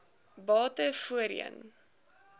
bate voorheen